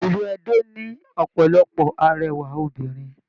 Ilú Ẹdó ní ọpọlọpọ arẹwà obìnrin.